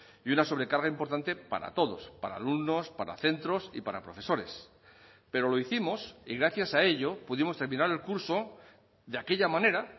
y una sobrecarga importante para todos para alumnos para centros y para profesores pero lo hicimos y gracias a ello pudimos terminar el curso de aquella manera